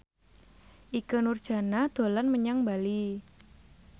Ikke Nurjanah dolan menyang Bali